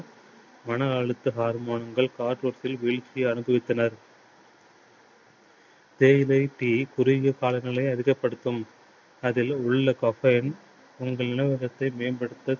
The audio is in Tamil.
மன அழுத்த harmone கள் அனுபவித்தனர். தேயிலை tea காலங்களை அதிகப்படுத்தும். அதில் உள்ள caffeine உங்கள் மேம்படுத்த